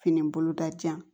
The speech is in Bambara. Fini boloda jan